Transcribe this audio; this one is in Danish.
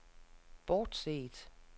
bortset